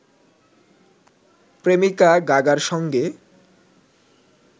প্রেমিকা গাগার সঙ্গে